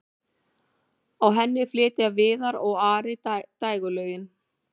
á henni flytja viðar og ari dægurlög